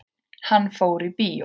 Hann fór í bíó.